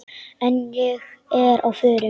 En ég er á förum.